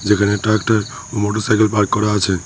যেখানে ট্রাক্টর ও মোটরসাইকেল বার করা আছে।